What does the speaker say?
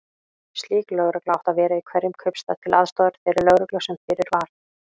Slík lögregla átti að vera í hverjum kaupstað, til aðstoðar þeirri lögreglu sem fyrir var.